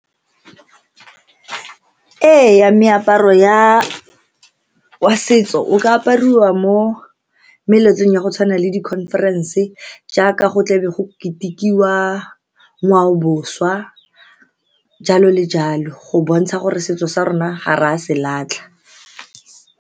Diaparo tsa setso di ne di kgona go refa lesedi gore mosadi o ke wa mofuta mang. Go na le diaparo tsa segompieno, go na le tsela ya ka mokgwa o mosadi o ne a tshwanetse a itshware ka teng, ga a apere diaparo tse tsa setso. Meaparo ya setso o ka apariwa mo meletlong ya go tshwana le di-conference jaaka go tlabe go ketikiwa jalo le jalo go bontsha gore setso sa rona ga re a se latlha.